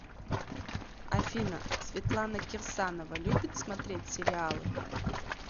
афина светлана кирсанова любит смотреть сериалы